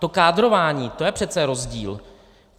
To kádrování, to je přece rozdíl!